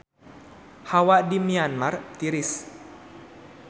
Hawa di Myanmar tiris